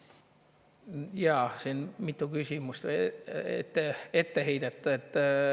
Jaa, siin oli mitu küsimust ja etteheidet.